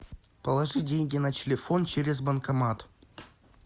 положи деньги на телефон через банкомат